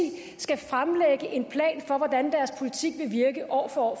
skal fremlægge en plan for hvordan deres politik vil virke år for år